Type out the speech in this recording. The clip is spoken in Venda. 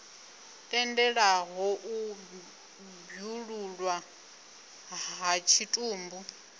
tendelaho u bwululwa ha tshitumbu